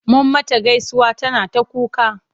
Mun mata gaisuwa tana ta kuka.